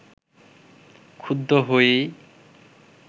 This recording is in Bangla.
ক্ষুব্ধ হয়েই